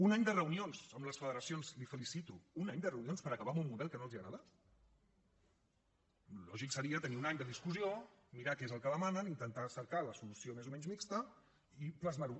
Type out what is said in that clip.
un any de reunions amb les federacions la felicito un any de reunions per acabar amb un model que no els agrada el lògic seria tenir un any de discussió mirar què és el que demanen intentar cercar la solució més o menys mixta i plasmar ho